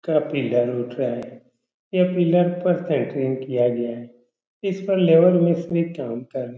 का पिलर उठ रहा है। ये पिलर पर शटरिंग किया गया है। इस पर लेबर मिस्त्री काम कर --